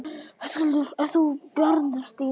Höskuldur: Ert þú bjartsýn?